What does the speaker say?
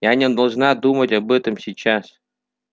я не должна думать об этом сейчас